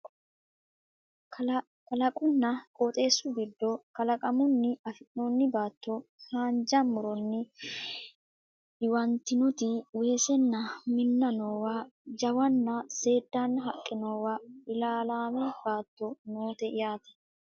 Kalaqunna Qooxeessu giddo kalaqamunni afi'noonni baatto haanja muronni diwantinoti weesenna minna noowa jawanna Seeddaanna haqqe noowa ilaalaame batto noote yaate